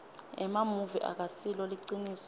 emamuvi akasilo liciniso